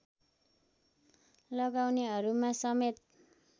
लगाउनेहरूमा समेत